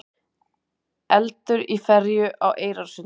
Eldur í ferju á Eyrarsundi